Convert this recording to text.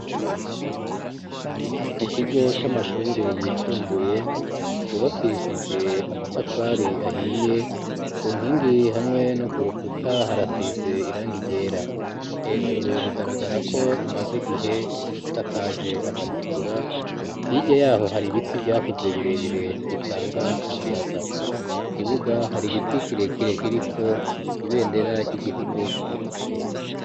Mu kigo c'amashure yisumbuye cubakishije amatafari ahiye ku nkingi hamwe no ku rukuta harasize irangi ryera, hejuru bigaragara ko imaze igihe isakaje amatigura hirya yaho hari ibiti vyakuze birebire bitanga umuyaga, kukibuga hari igiti kirekire kiriko ibendera ry'igihugu c'uburundi.